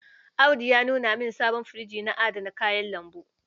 Audu ya nuna min sabon firjinsa na adana kayan lambu.